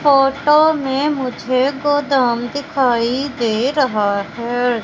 Photo में मुझे गोदाम दिखाई दे रहा है।